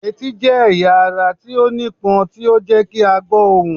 Eti jẹ ẹya ara ti o nipon ti o jẹ ki a gbo ohun.